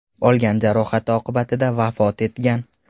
olgan jarohati oqibatida vafot etgan.